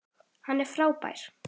Hann er frábær.